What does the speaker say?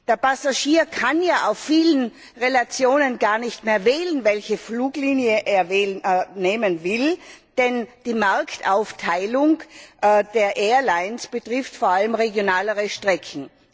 Der Passagier kann ja bei vielen Verbindungen gar nicht mehr wählen, welche Fluglinie er nehmen will, denn die Marktaufteilung der Airlines betrifft vor allem regionale Strecken.